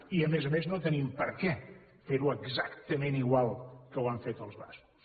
i a més a més no tenim per què ferho exactament igual a com ho han fet els bascos